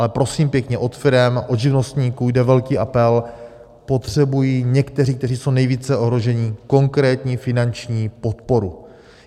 Ale prosím pěkně, od firem, od živnostníků jde velký apel: potřebují někteří, kteří jsou nejvíce ohroženi, konkrétní finanční podporu.